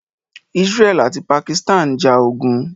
Israeli ati Pakistan njà ogun.